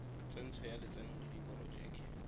tsentsho ya lotseno le diporojeke